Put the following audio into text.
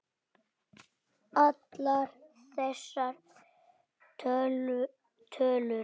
Allar þessar tölur.